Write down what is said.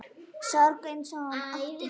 Sorg hans og ótti.